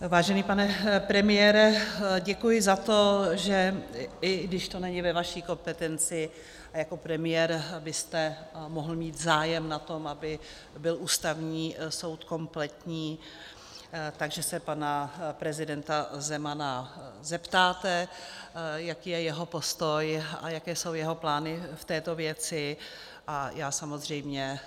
Vážený pane premiére, děkuji za to, že i když to není ve vaší kompetenci, jako premiér byste mohl mít zájem na tom, aby byl Ústavní soud kompletní, takže se pana prezidenta Zemana zeptáte, jaký je jeho postoj a jaké jsou jeho plány v této věci, a já samozřejmě